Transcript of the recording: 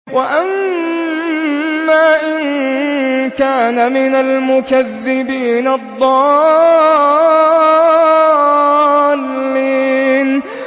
وَأَمَّا إِن كَانَ مِنَ الْمُكَذِّبِينَ الضَّالِّينَ